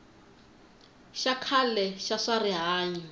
xa khale xa swa rihanyo